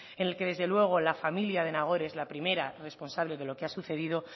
en el que desde luego la familia de nagore es la primera responsable de lo que ha sucedido